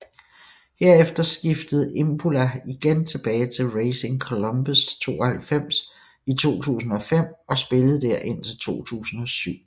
Herefter skiftede Imbula igen tilbage til Racing Colombes 92 i 2005 og spillede der indtil 2007